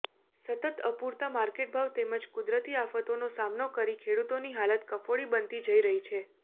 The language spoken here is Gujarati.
સતત અપૂરતા માર્કેટભાવ તેમજ કુદરતી આફતોનો સામનો કરી ખેડૂતોની હાલત કફોડી બનતી જઈ રહી છે